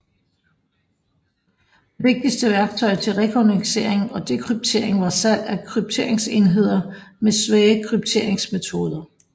Det vigtigste værktøj til rekognoscering og dekryptering var salg af krypteringsenheder med svage krypteringsmetoder